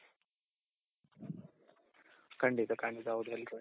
ಕಂಡಿತ ಕಂಡಿತ ಹೌದು